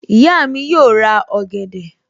Ìyá mi yóò ra ọ̀gẹ̀dẹ̀